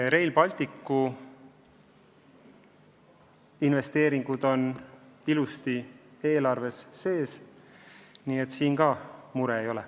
Rail Balticu investeeringud on ilusti eelarves sees, nii et sellega muret ei ole.